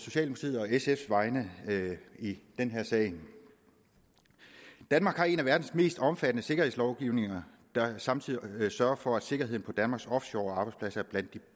sfs vegne i den her sag danmark har en af verdens mest omfattende sikkerhedslovgivninger der samtidig sørger for at sikkerheden på danmarks offshorearbejdspladser er blandt de